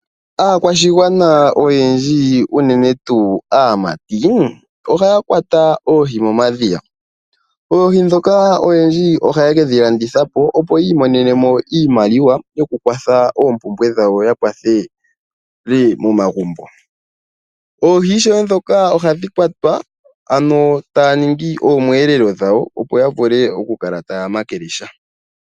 Aakwashigwana oyendji uunene tuu aamati ohaa kwata oohi momadhiya, oohi ndhoka oyendji ohake dhilandithapo opo yi imonenemo iimaliwa yokukwatha ompumbwe dhawo nomomagumbo, oohi ishewe ndhoka ohadhi kwatwa ano taaningi omweelelo dhawo opo yavule okukala taya makele sha.